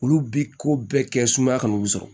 Olu bɛ ko bɛɛ kɛ sumaya kan olu sɔrɔ